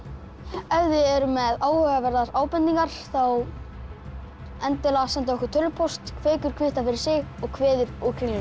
ef þið eruð með áhugaverðar ábendingar þá endilega sendið okkur tölvupóst kveikur kvittar fyrir sig og kveður úr Kringlunni